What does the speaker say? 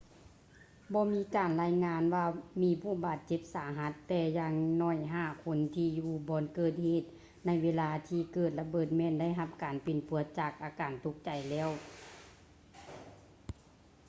ບໍ່ມີການລາຍງານວ່າມີຜູ້ບາດເຈັບສາຫັດ ແຕ່ຢ່າງໜ້ອຍຫ້າຄົນທີ່ຢູ່ບ່ອນເກີດເຫດໃນເວລາທີ່ເກີດລະເບີດແມ່ນໄດ້ຮັບການປິ່ນປົວຈາກອາການຕົກໃຈແລ້ວ